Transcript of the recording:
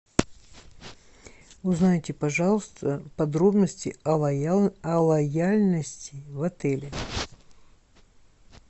узнайте пожалуйста подробности о лояльности в отеле